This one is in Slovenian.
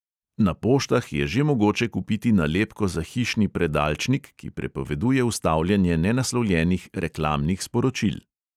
Na poštah je že mogoče kupiti nalepko za hišni predalčnik, ki prepoveduje vstavljanje nenaslovljenih reklamnih sporočil.